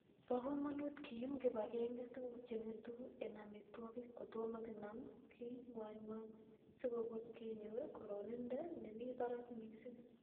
Bo komonut kiyum kibagenge tuguk chengetu en amitwogiik kotomo kinam ke ngwangwany, sikubuch kenyor kororonindo nemi barak missing